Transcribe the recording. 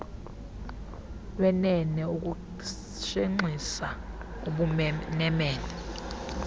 lwenene ukushenxisa ubumenemene